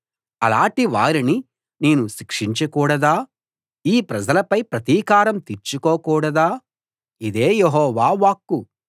అలాటి వారిని నేను శిక్షించకూడదా ఈ ప్రజలపై ప్రతీకారం తీర్చుకోకూడదా ఇదే యెహోవా వాక్కు